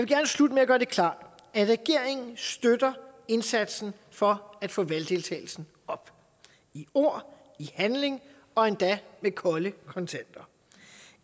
gerne slutte med at gøre det klart at regeringen støtter indsatsen for at få valgdeltagelsen op i ord i handling og endda med kolde kontanter